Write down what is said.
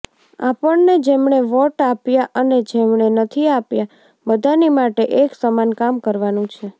આપણને જેમણે વોટ આપ્યા અને જેમણે નથી આપ્યા બધાની માટે એક સમાન કામ કરવાનું છે